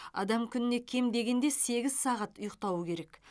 адам күніне кем дегенде сегіз сағат ұйықтауы керек